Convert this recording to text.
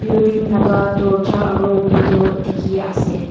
building laka dorja aro window dekhe ase.